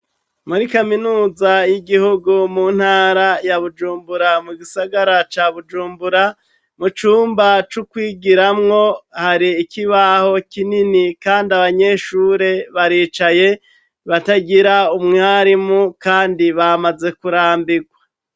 Muri kaminuza y'igihugu mu ntara ya Bujumbura mu gisagara ca Bujumbura, mu cumba c'ukwigiramwo hari ikibaho kinini kandi abanyeshure baricaye batagira umwarimu kandi bamaze kurambirwa.